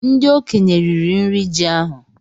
Ndị okenye riri nri ji ahú